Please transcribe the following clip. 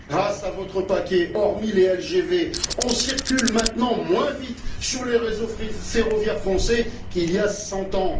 Grâce à votre paquet, hormis les LGV, on circule maintenant moins vite sur les réseaux ferroviaires français qu'il y a cent ans.